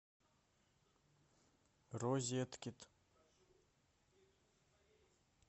розеткед